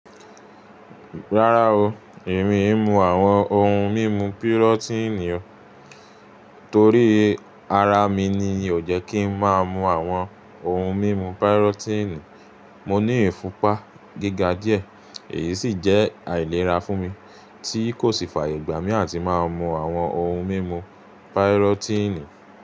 Rárá o, èmi èé mú àwọn ohun mímu pirọ́tíìnì o. Torí ara mi ni ò jẹ́ kí ń máa mú àwọn ohun mímu pirọ́tíìnì. Mo ní ìfúnpá gíga díẹ̀, èyí sì jẹ́ àìlera fún mi tí kò sì fààyè gbà mí àti máa mú àwọn ohun mímu páírọ́tíìnì.